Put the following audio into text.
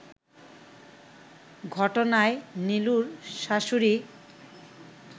ঘটনায় নিলুর শ্বাশুড়ি